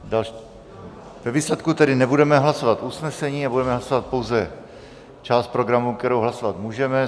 Ve výsledku tedy nebudeme hlasovat usnesení, ale budeme hlasovat pouze část programu, kterou hlasovat můžeme.